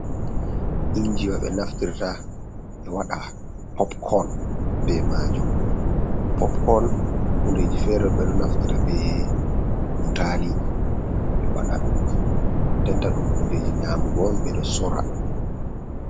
Injiwa ɓe naftirta ɓe wada pop kon be majum. Pop kon hundeji fere on ɓe ɗo naftita be butali ɓe waɗa denta, ɗum hundeji nyamugo on ɓeɗo sora.